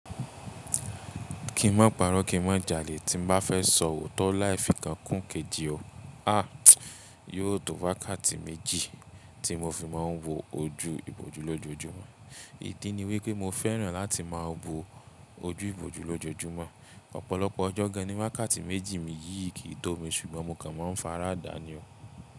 Kí n má paró, kí n má jalè tí n bá fẹ́ sọ ò tọ́ láì fi kan kún kejì ọ. Àá, yóò tó wákáàtì méjì tí mo fi máa ń wo ojú ìbòjú lójoojúmọ́. Ìdí ni wí pé mo fẹ́ràn láti máa bo ojú ìbòjú lójoojúmọ́. Ọ̀pọ̀lọpọ̀ ọjọ́ gan ní wákáàtì méjì mi yìí kì í tó mi, ṣùgbọ́n mo kan máa ń fara adá ni o.